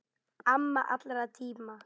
Amma allra tíma.